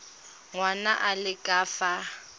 ngwana a le ka fa